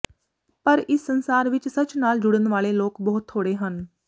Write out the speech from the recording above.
ਪਰ ਇਸ ਸੰਸਾਰ ਵਿਚ ਸੱਚ ਨਾਲ ਜੁੜਨ ਵਾਲੇ ਲੋਕ ਬਹੁਤ ਥੋਹੜੇ ਹਨ